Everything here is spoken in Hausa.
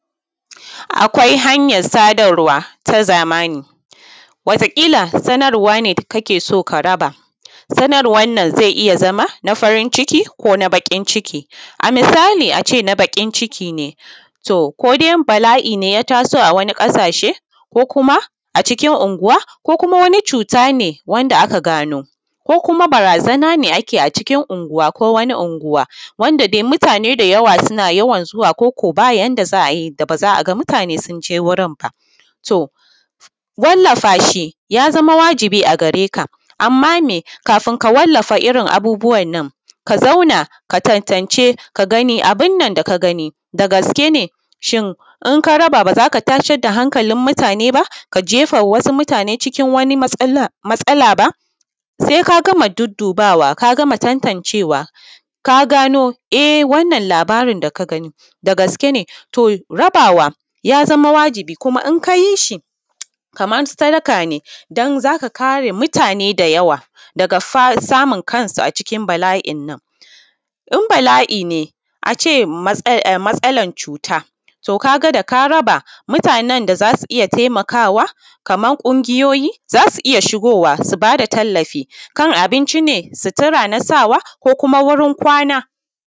akwai hanyar sadarwa ta zamani wataƙila sanarwa ne kake so ka raba sanarwan nan zai iya zama na farin ciki ko na baƙin ciki a misali a ce na baƙin ciki ne to ko dai bala’i ne ya taso a wani ƙasashe ko kuma a cikin unguwa ko kuma wani cuta ne wanda aka gano ko kuma barazana ne ake a cikin unguwa ko wani unguwa wanda dai mutane da yawa suna yawan zuwa ko ko ba yanda za a yi da ba za a ga mutane sun je wurin ba to wallafa shi ya zama wajibi a gare ka amma me kafin ka wallafa irin abubuwan nan ka zauna ka tantance ka gani abin nan da ka gani da gaske ne shin in ka raba ba za ka tasar da hankalin mutane ba ka jefa mutane cikin wani matsala matsala ba sai ka gama duddubawa ka gama tantancewa ka gano e wannan labarin da ka gani da gaske ne to rabawa ya zama wajibi kuma in ka yi shi kaman sadaka ne don za ka kare mutane da yawa daga samun kansu a cikin bala’in nan in bala’i ne a ce matsalan cuta to ka ga da ka raba mutanen da za su iya taimakawa kaman ƙungiyoyi za su iya shigowa su ba da tallafi kan abinci ne sutura na sawa ko kuma wurin kwana